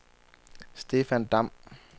Stefan Damm